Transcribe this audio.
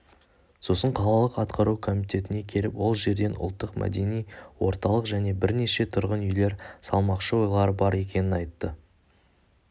сосын қалалық атқару комитетіне келіп ол жерден ұлттық-мәдени орталық және бірнеше тұрғын үйлер салмақшы ойлары бар екенін айтты